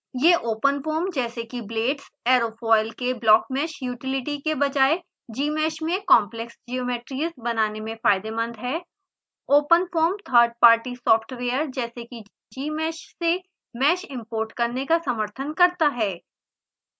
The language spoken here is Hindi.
यह openfoam जैसे कि blades aerofoil के blockmesh यूटीलिटी के बजाय gmsh में complex geometries बनाने में फायदेमंद है openfoam थर्ड पार्टी सॉफ्टवेयर जैसे कि gmsh से mesh इम्पोर्ट करने का समर्थन करता है